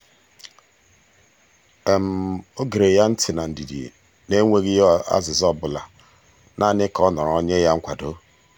o gere ya ntị na ndidi n'enweghị ya azịza ọbụla naanị ka ọ nọrọ nye ya nkwado.